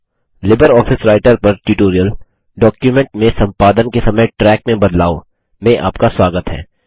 LibreOffice Writer पर tutorial document में संपादन के समय ट्रैक में बदलाव में आपका स्वागत है